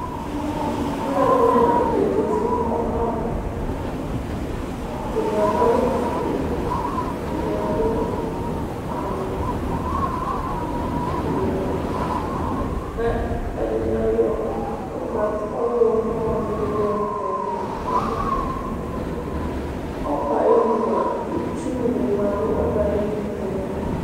Ɔlɔdini lanutɛ aziti nu ɔbɛ ava ɛdini adu awu fue ɛdini adu awu wɛ ɛdini ayɔ ɔɣlomɔ dini yɔ kɔ nu ɛmɔ ɔbɛ ayinu ɔbɛayinua itsu nima